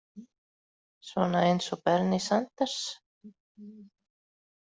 Svona eins og Bernie Sanders.